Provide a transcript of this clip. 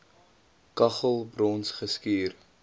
kaggel brons geskuur